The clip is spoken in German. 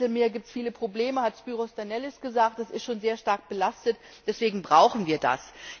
Im Mittelmeer gibt es viele Probleme, hat Spyros Danellis gesagt, das ist schon sehr stark belastet, deswegen brauchen wir das.